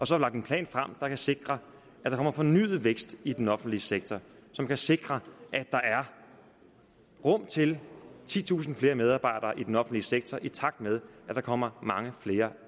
så lagt en plan frem der kan sikre at der kommer fornyet vækst i den offentlige sektor som kan sikre at der er rum til titusinde flere medarbejdere i den offentlige sektor i takt med at der kommer mange flere